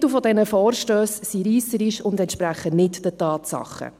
Die Titel dieser Vorstösse sind reisserisch und entsprechen nicht den Tatsachen.